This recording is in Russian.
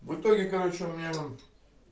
в итоге короче у меня